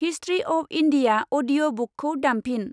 History of India audio बुकखौ दामफिन।